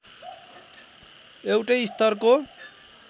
एउटै स्तरको